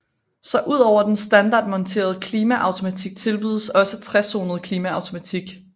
Så ud over den standardmonterede klimaautomatik tilbydes også trezonet klimaautomatik